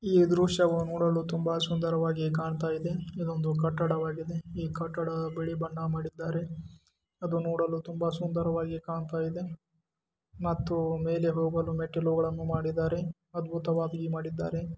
ಈ ದೃಶ್ಯವು ನೋಡಲು ತುಂಬಾ ಸುಂದರವಾಗಿ ಕಾಣ್ತಾ ಇದೆ ಇದೊಂದು ಕಟ್ಟಡವಾಗಿದೆ ಈ ಕಟ್ಟಡ ಬಿಳಿ ಬಣ್ಣ ಮಾಡಿದ್ದಾರೆ ಅದು ನೋಡಲು ತುಂಬಾ ಸುಂದರವಾಗಿ ಕಾಣ್ತಾ ಇದೆ ಮತ್ತು ಮೇಲೆ ಹೋಗಲು ಮೆಟ್ಟಿಲುಗಳನ್ನು ಮಾಡಿದ್ದಾರೆ ಅದ್ಭುತವಾಗಿ ಮಾಡಿದ್ದಾರೆ.